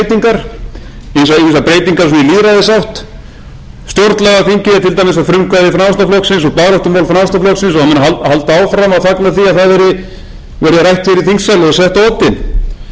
er bara eitt æpandi gap í stjórnarsáttmálanum held ég örugglega að hann heiti ég er þó ekki alveg viss og í stefnuræðu